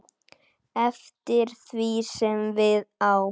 eftir því sem við á.